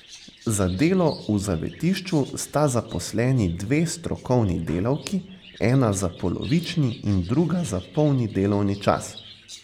Za delo v zavetišču sta zaposleni dve strokovni delavki, ena za polovični in druga za polni delovni čas.